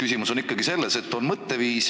Küsimus on ikkagi mõtteviisis: